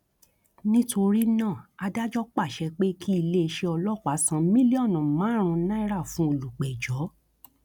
nítorí náà adájọ pàṣẹ pé kí iléeṣẹ ọlọpàá san mílíọnù márùn náírà fún olùpẹjọ